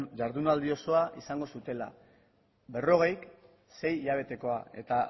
jardunaldi osoa izango zutela berrogei sei hilabetekoa eta